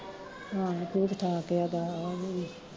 ਹਾਂ ਠੀਕ ਠਾਕ ਬਸ ਓਹ ਵੀ